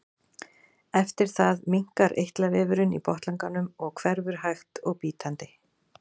Eftir það minnkar eitlavefurinn í botnlanganum og hverfur hægt og bítandi.